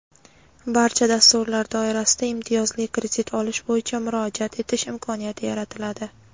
barcha dasturlar doirasida imtiyozli kredit olish bo‘yicha murojaat etish imkoniyati yaratiladi;.